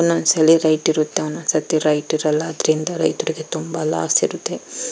ಒಂದೊಂದು ಸಲ ಲೈಟ್ ಇರುತ್ತೆ ಒಂದೊಂದು ಸರ್ತಿ ಲೈಟ್ ಇರಲ್ಲ ಅದರಿಂದ ರೈತರಿಗೆ ತುಂಬಾ ಲಾಸ್ ಇರುತ್ತೆ .